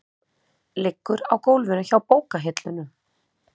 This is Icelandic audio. Liggur á gólfinu hjá bókahillunum.